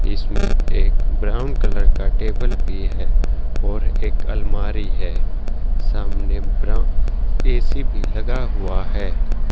इसमें एक brown colour का टेबल भी है और एक अलमारी है सामने ब्रा ए_सी भी लगा हुआ है।